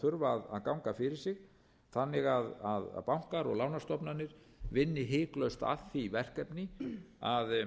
þurfa að ganga fyrir sig þannig að bankar og lánastofnanir vinni hiklaust að því verkefni að